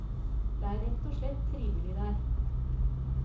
Det er rett og slett trivelig der.